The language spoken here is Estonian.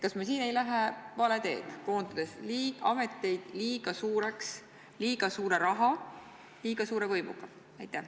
Kas me siin ei lähe vale teed, koondades ameteid liiga suureks, liiga suure raha ja liiga suure võimuga?